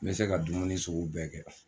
N bɛ se ka dumuni sugu bɛɛ kɛ